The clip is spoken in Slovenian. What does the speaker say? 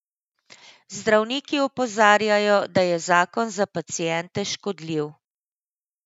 Zdravniki opozarjajo, da je zakon za paciente škodljiv.